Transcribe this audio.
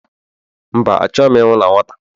Mba, achọghị m ịnwụ na nwata